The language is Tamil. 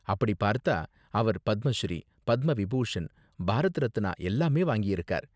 அப்படி பார்த்தா, அவர் பத்ம ஸ்ரீ, பத்ம விபூஷன், பாரத் ரத்னா எல்லாமே வாங்கியிருக்கார்.